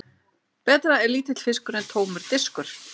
Betra er lítill fiskur en tómur diskur.